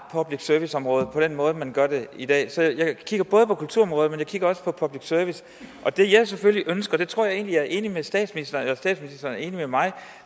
public service området på den måde man gør det i dag så jeg kigger på kulturområdet men jeg kigger også på public service og det jeg selvfølgelig ønsker og der tror jeg egentlig at statsministeren er enig med mig